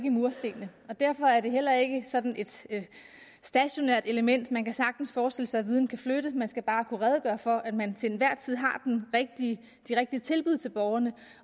i murstenene og derfor er det heller ikke sådan et stationært element man kan sagtens forestille sig at viden kan flytte man skal bare kunne redegøre for at man til enhver tid har de rigtige tilbud til borgerne